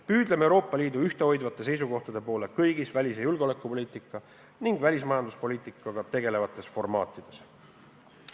Püüdleme Euroopa Liidu ühtehoidvate seisukohtade poole kõigis välis- ja julgeolekupoliitika ning välismajanduspoliitikaga tegelevates formaatides.